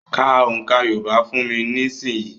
Ka òǹkà Yorùbá fún mi nísìnyìí.